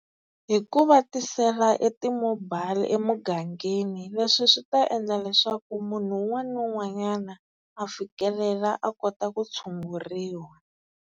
Hi ku va tisela e ti-mobile emugangeni. Leswi swi ta endla leswaku munhu un'wana na un'wanyana a fikelela a kota ku tshunguriwa.